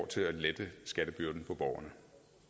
til at lette skattebyrden for borgere